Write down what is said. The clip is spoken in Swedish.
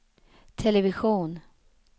television